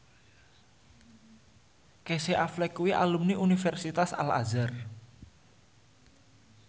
Casey Affleck kuwi alumni Universitas Al Azhar